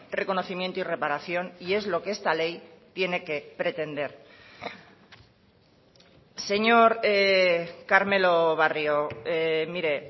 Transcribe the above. reconocimiento y reparación y es lo que esta ley tiene que pretender señor carmelo barrio mire